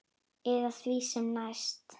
Eða því sem næst.